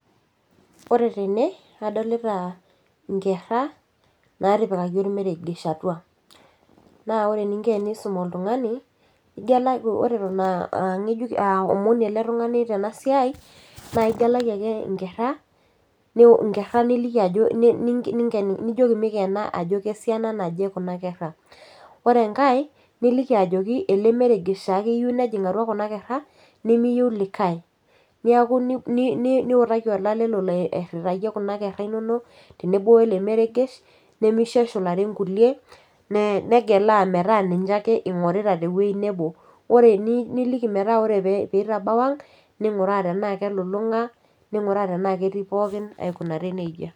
Ore tene adolita inkerra natipikaki ormeregesh atua naa ore eninko piisum oltung'ani igelaki ore eton aa angejuk aomoni ele tung'ani tena siai naa igelaki ake inkerra niu inkerra niliki ajo ninken nijioki mikena ajo kesiana naje kuna kerra ore enkae niliki ajoki ele meregesh taake eyieu nejing atua kuna kerra nemiyieu likae niaku ni niutaki olale lolo airritayie kuna kerra inonok tenebo wele meregesh nemisho eshulare inkulie nee negelaa metaa ninche ake ing'orita tewueji nebo ore ni niliki metaa ore pee peitabau ang ning'uraa tenaa kelulung'a ning'uraa tenaa ketii pookin aikunari nejia.